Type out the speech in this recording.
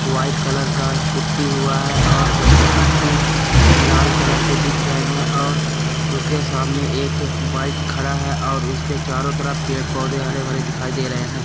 White colour का putty हुआ है और उसके पट्टी लाल कलर के दिख रहे है और उसके सामने एक बाइक खड़ा है और उसके चारों तरफ पेड़ पौधे हरे-भरे दिखाई दे रहे हैं।